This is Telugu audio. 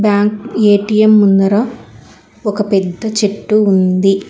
బ్యాంక్ ఏ_టి_యమ్ ముందర ఒక పెద్ద చెట్టు ఉంది.